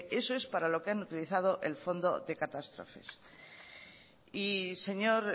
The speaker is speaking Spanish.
eso es para lo que han utilizado el fondo de catástrofes y señor